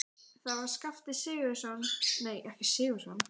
Það var Skafti Sigurjónsson, verkstjórinn í vinnunni.